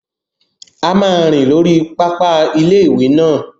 A máa rìn lórí pápá ilé-ìwé náà